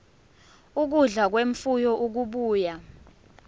ukudla kwemfuyo okubuya